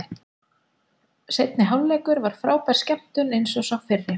Seinni hálfleikur var frábær skemmtun eins og sá fyrri.